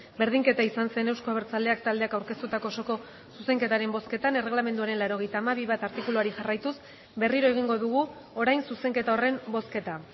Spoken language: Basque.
berdinketa izan zen euzko abertzaleak taldeak aurkeztutako osoko zuzenketaren bozketan erregelamenduaren laurogeita hamabi puntu bat artikuluari jarraituz berriro egingo dugu orain zuzenketa horren bozketa